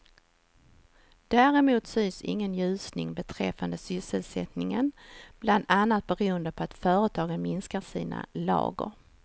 Däremot syns ingen ljusning beträffande sysselsättningen, bland annat beroende på att företagen minskar sina lager.